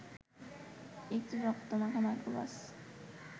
একটি রক্তমাখা মাইক্রোবাস